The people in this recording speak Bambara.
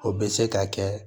O bɛ se ka kɛ